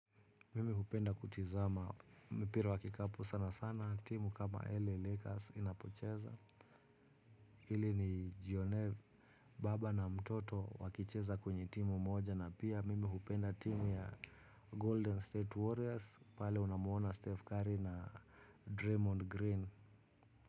Mimi hupenda kutizama. Mpira wa kikapu sana sana timu kama LA Lakers inapocheza. Ili nijionee baba na mtoto wakicheza kwenye timu moja na pia mimi hupenda timu ya golden State Warriors. Pale unamuona Steph Curry na Draymond Green.